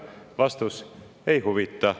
Vastus: ei huvita.